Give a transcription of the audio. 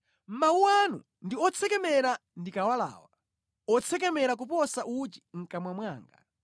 Mawu anu ndi otsekemera ndikawalawa, otsekemera kuposa uchi mʼkamwa mwanga!